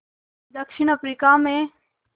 दक्षिण अफ्रीका में